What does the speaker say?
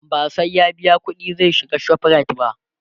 ba sai ya biya ƙuɗi zai shiga ShopRite ba